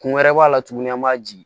Kun wɛrɛ b'a la tuguni an b'a ji